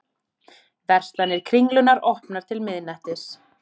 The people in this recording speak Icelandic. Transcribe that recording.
Verslanir Kringlunnar opnar til miðnættis